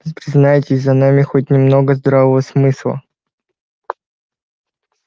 признайте за нами хоть немного здравого смысла